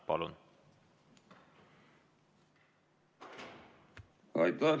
Palun!